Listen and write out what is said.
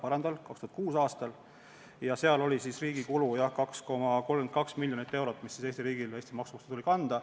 Riigi kulu oli siis 2,32 miljonit eurot – Eesti riigil tuli see maksurahast kanda.